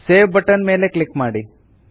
save button ಮೇಲೆ click ಮಾಡಿ